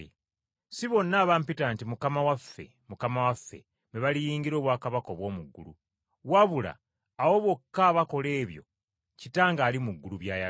“Si bonna abampita nti, ‘Mukama waffe, Mukama waffe,’ be baliyingira obwakabaka obw’omu ggulu, wabula abo bokka abakola ebyo Kitange ali mu ggulu by’ayagala.